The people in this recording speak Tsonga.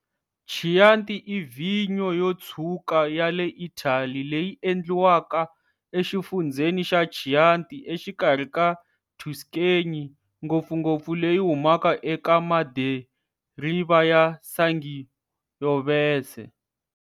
Chianti i vhinyo yo tshwuka ya le Italy leyi endliwaka exifundzheni xa Chianti exikarhi ka Tuscany, ngopfungopfu leyi humaka eka madiriva ya Sangiovese.